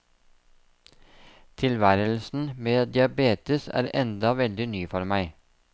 Tilværelsen med diabetes er enda veldig ny for meg.